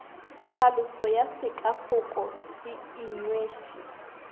tlhaloso ya sekafoko se inweše